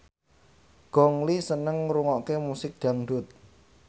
Gong Li seneng ngrungokne musik dangdut